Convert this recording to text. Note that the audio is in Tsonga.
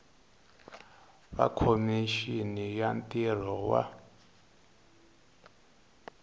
wa khomixini ya ntirho wa